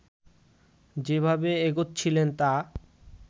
যেভাবে এগোচ্ছিলেন তা